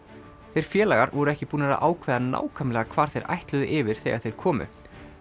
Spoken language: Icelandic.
þeir félagar voru ekki búnir að ákveða nákvæmlega hvar þeir ætluðu yfir þegar þeir komu